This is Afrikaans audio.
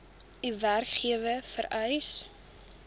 u werkgewer vereis